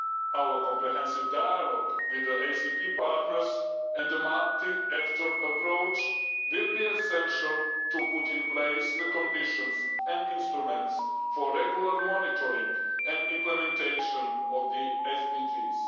Our comprehensive dialogue with the ACP partners and a multi-actor approach will be essential to put in place the conditions and instruments for regular monitoring and implementation of the SDGs.